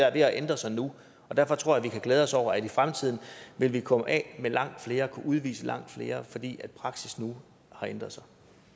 er ved at ændre sig nu og derfor tror jeg at vi kan glæde os over at i fremtiden vil vi komme af med langt flere og kunne udvise langt flere fordi praksis nu har ændret